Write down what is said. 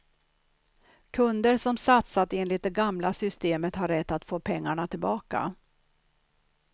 Kunder som satsat enligt det gamla systemet har rätt att få pengarna tillbaka.